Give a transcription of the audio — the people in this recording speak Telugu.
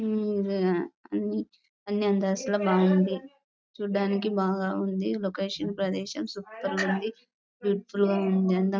అన్నీ అంతస్తులోనే బాగుంది చూడడానికి బాగా ఉంది. లొకేషన్ ప్రదేశం సూపర్ గా ఉంది. బ్యూటిఫుల్ గా ఉంది.